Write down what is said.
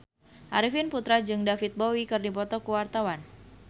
Arifin Putra jeung David Bowie keur dipoto ku wartawan